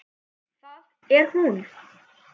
Það er hún.